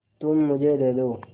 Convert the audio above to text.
तुम मुझे दे दो